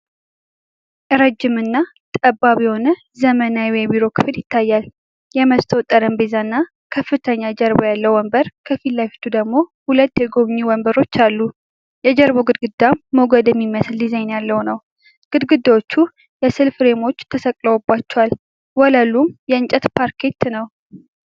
ረጅም እና ጠባብ የሆነ ዘመናዊ የቢሮ ክፍል ይታያል። የመስታወት ጠረጴዛ እና ከፍተኛ ጀርባ ያለው ወንበር ከፊት ለፊቱ ደግሞ ሁለት የጎብኚ ወንበሮች አሉ። የጀርባው ግድግዳ ሞገድ የሚመስል ዲዛይን ያለው ነው። ግድግዳዎቹም የስዕል ፍሬሞች ተሰቅለውባቸዋል፤ ወለሉም የእንጨት ፓርኬት ነው።